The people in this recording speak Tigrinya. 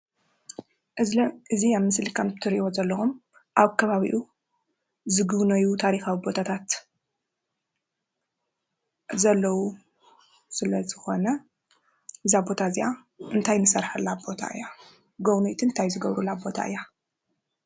ክዝሊ እዚ አብ ምስሊ ከም እትሪእዎ ዘለኹም አብ ከባቢኡ ዝግቡነዩ ታሪኻዊ ቦታታት ዘለው ስለ ዝኾነ እዛ ቦታ እዚአ እንታይ ንሰርሓላ ቦታ እያ ? ጎብነይቲ እንታይ ዝገብሩላ ቦታ እያ?